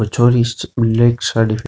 और छोरी ब्लैक साड़ी --